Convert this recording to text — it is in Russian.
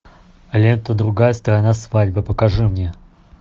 лента другая сторона свадьбы покажи мне